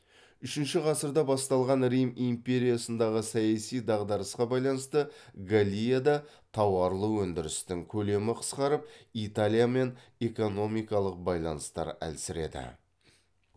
үшінші ғасырда басталған рим империясындағы саяси дағдарысқа байланысты галлияда тауарлы өндірістің көлемі қысқарып италиямен эконикалық байланыстар әлсіреді